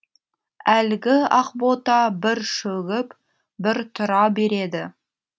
әлгі ақбота бір шөгіп бір тұра береді